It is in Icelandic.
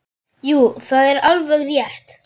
Jú, það er alveg rétt.